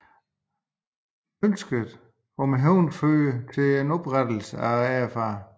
Ønsket om hævn førte til oprettelse af RAF